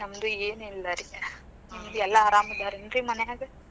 ನಮ್ದೂ ಏನಿಲ್ಲಾ ರಿ, ನಿಮದ್ ಎಲ್ಲಾ ಆರಾಮದಾರೇನ್ರಿ ಮನ್ಯಾಗ?